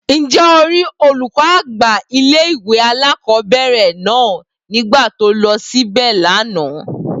Ǹjẹ́ o rí olùkọ́ àgbà ilé ìwé alákọ̀ọ́bẹ̀rẹ̀ náà nígbà tó lọ síbè lánàá?